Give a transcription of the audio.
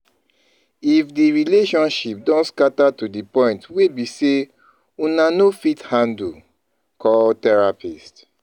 If di relationship don scatter to di point wey be sey una no fit handle, call therapist